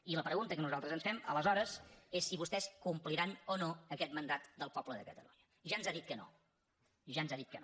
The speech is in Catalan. i la pregunta que nosaltres ens fem aleshores és si vostès compliran o no aquest mandat del poble de catalunya ja ens ha dit que no ja ens ha dit que no